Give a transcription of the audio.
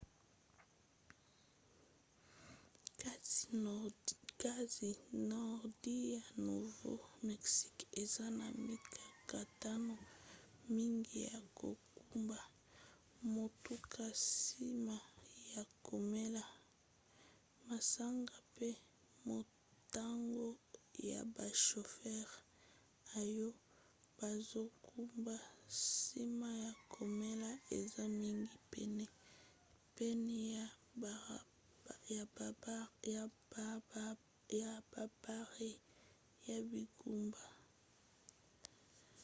kasi nordi ya nouveau-mexique eza na mikakatano mingi ya kokumba motuka nsima ya komela masanga pe motango ya bashofere oyo bazokumba nsima ya komela eza mingi pene ya babare ya bingumba